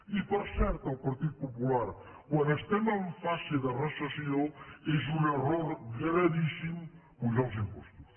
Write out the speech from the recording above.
i per cert al partit popular quan estem en fase de recessió és un error gravíssim apujar els impostos